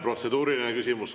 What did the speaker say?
Protseduuriline küsimus.